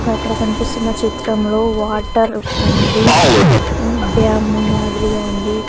అక్క అక్కడ కన్పిస్తున్న చిత్రంలో వాటర్ ఉంది డ్యాము మాదిరిగా ఉంది.